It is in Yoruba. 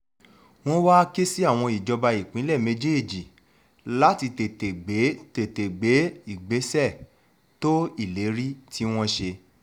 wọ́n wáá ké sí àwọn ìjọba ìpínlẹ̀ méjèèjì láti tètè gbé tètè gbé ìgbésẹ̀ tó ìlérí tí wọ́n ṣe